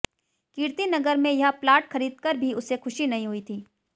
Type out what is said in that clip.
कीर्तिनगर में यह प्लाट खरीदकर भी उसे खुशी नहीं हुई थी